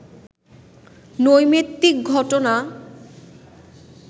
নৈমিত্তিক ঘটনা